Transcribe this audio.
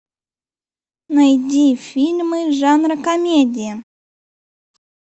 найди фильмы жанра комедия